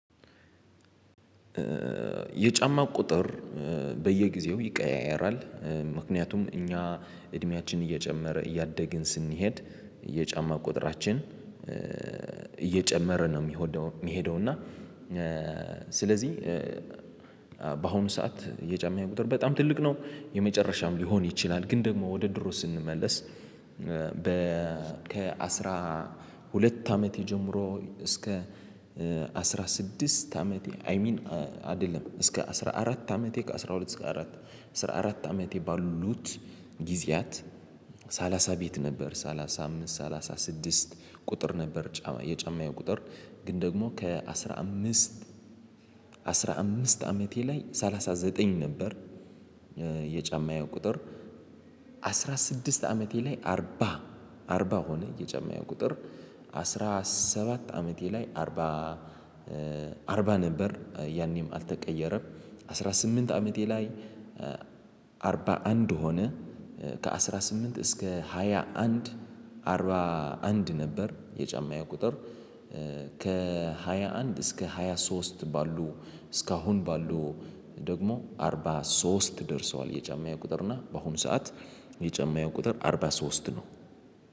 የጫማ ቁጥር በየጊዜው ይቀያየራል ምክንያቱም እኛ እድሜያችን እየጨመረ እያደግን ስንሄድ የጫማ ቁጥራችን እየጨመረ ነው። ሚሄደው እና ስለዚ በአሁኑ ሰዓት የጫማዬ ቁጥር በጣም ትልቅ ነው። የመጨረሻም ሊሆን ይችላል ግን ደግሞ ወደ ድሮ ስንመለስ በ ከ አስራ ሁለት አመቴ ጀምሮ እስከ አስራ ስድስት አመቴ አይ ሚን አደለም እስከ አስራ አራት አመቴ ከአሥራ ሁለት እስከ አስራ አራት አመቴ ባሉት ጊዜያት ሰላሳ ቤት ነበር ሰላሳ አምስት ሰላሳ ስድስት ቁጥር ነበር። የጫማዬ ቁጥር ግን ደግሞ ከአሥራ አምስት አስራ አምስት አመቴ ላይ ሰላሳ ዘጠኝ ነበር። የጫማዬ ቁጥር አስራ ስድስት አመቴ ላይ አርባ አርባ ሆነ። የጫማዬ ቁጥር አስራ ሰባት አመቴ ላይ አርባ አርባ ነበር ያኔም አልተቀየረም። አስራ ስምንት አመቴ ላይ አርባ አንድ ሆነ። ከአሥራ ስምንት እስከ ሃያ አንድ አርባ አንድ ነበር የጫማዬ ቁጥር። ከሃያ አንድ እስከ ሃያ ሶስት ባሉ እስካሁን ባሉ ደግሞ አርባ ሶስት ደርሰዋል የጫማዬ ቁጥር። እና በአሁኑ ሰዓት የጫማየ ቁጥር አርባ ሶስት ነው።